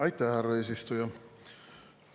Aitäh, härra eesistuja!